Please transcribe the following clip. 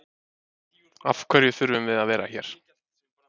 Af hverju þurfum við að vera hér?